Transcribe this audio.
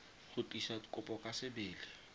go tlisa kopo ka sebele